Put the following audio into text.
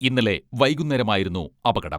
ഇന്നലെ വൈകുന്നേരമായിരുന്നു അപകടം.